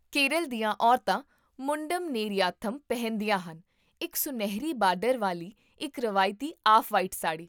ਕੇਰਲ ਦੀਆਂ ਔਰਤਾਂ ਮੁੰਡਮ ਨੇਰੀਆਥਮ ਪਹਿਨਦੀਆਂ ਹਨ, ਇੱਕ ਸੁਨਹਿਰੀ ਬਾਰਡਰ ਵਾਲੀ ਇੱਕ ਰਵਾਇਤੀ ਆਫ਼ ਵਾਈਟ ਸਾੜੀ